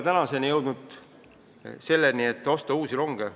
Samas me ei ole jõudnud selleni, et osta uusi ronge.